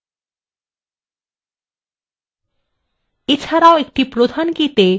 এছাড়াও একটি প্রধান কীতে সবসময় কোনো মান থাকতে have